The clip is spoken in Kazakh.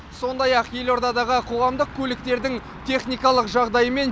сондай ақ елордадағы қоғамдық көліктердің техникалық жағдайы мен